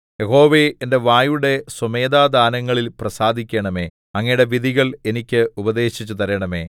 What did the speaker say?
യഹോവേ എന്റെ വായുടെ സ്വമേധാദാനങ്ങളിൽ പ്രസാദിക്കണമേ അങ്ങയുടെ വിധികൾ എനിക്ക് ഉപദേശിച്ചു തരണമേ